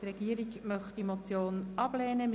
Die Regierung möchte die Motion ablehnen.